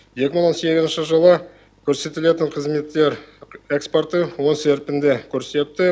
екі мың он сегізінші жылы көрсетілетін қызметтер экспорты оң серпінді көрсетті